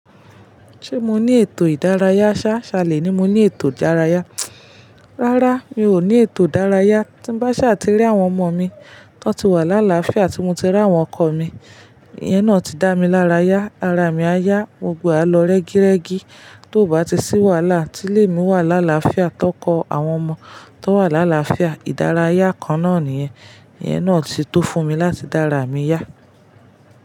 Ṣé mo ní ètò ìdárayá? Ṣá, ṣalé ni mo ní ètò ìdárayá. Rárá, mi ò ní ètò ìdárayá. Tí bá ṣà ti rí àwọn ọmọ mi tó ti wà lálàáfíà ti mo ti rí àwọn ọkọ mi, ìyẹn náà ti dá mi lárayá. Ara mi á yá, mo gbọ́e á lọ rẹ́gírẹ́gi. Tó bá ti sí wàhálà, tí lè mi wà lálàáfíà tọ́ko àwọn ọmọ tó wà lálàáfíà, ìdárayá kan náà nìyẹn. Ìyẹn náà ti tó fún mi láti dá ara mi yá.